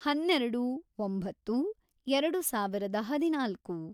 ಹನ್ನೆರೆಡು, ಒಂಬತ್ತು, ಎರೆಡು ಸಾವಿರದ ಹದಿನಾಲ್ಕು